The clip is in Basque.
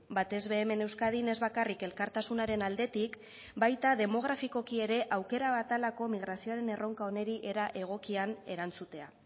batez be hemen euskadin ez bakarrik elkartasunaren aldetik baita demografikoki ere aukera bat dalako migrazioaren erronka honi era egokian erantzutea